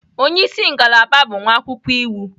Onye isi ngalaba bụ nwa akwụkwọ iwu.